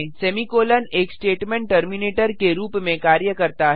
semicolon एक statement terminator के रूप में कार्य करता है